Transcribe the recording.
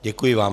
Děkuji vám.